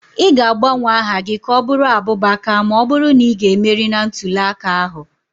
Ị ga-agbanwe aha gị ka ọ bụrụ Abubakar ma ọ bụrụ na ị ga-emeri na ntule aka ahụ.